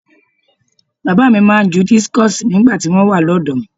Bàbá mi máa ń ju dískọ̀sì nígbà tí wọ́n wà lọ́dọ̀ọ́.